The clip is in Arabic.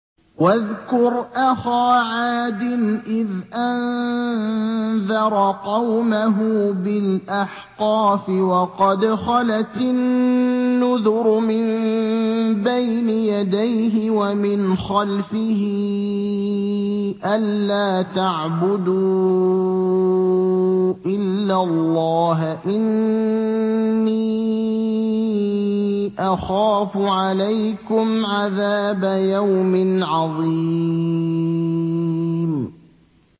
۞ وَاذْكُرْ أَخَا عَادٍ إِذْ أَنذَرَ قَوْمَهُ بِالْأَحْقَافِ وَقَدْ خَلَتِ النُّذُرُ مِن بَيْنِ يَدَيْهِ وَمِنْ خَلْفِهِ أَلَّا تَعْبُدُوا إِلَّا اللَّهَ إِنِّي أَخَافُ عَلَيْكُمْ عَذَابَ يَوْمٍ عَظِيمٍ